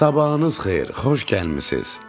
Sabahınız xeyir, xoş gəlmisiz.